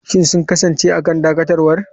Shin sun kasance a kan dakatarwa?